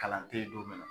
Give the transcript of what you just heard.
Kalan te ye don min na